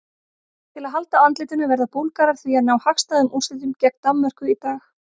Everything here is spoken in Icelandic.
Til að halda andlitinu verða Búlgarar því að ná hagstæðum úrslitum gegn Danmörku í dag.